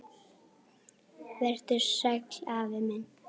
Vertu sæll, afi minn.